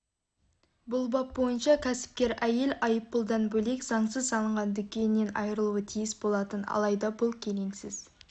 бұл бап бойынша кәсіпкер әйел айыппұлдан бөлек заңсыз салынған дүкенінен айырылуы тиіс болатын алайда бұл келеңсіз